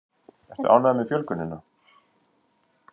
Ertu ánægður með fjölgunina?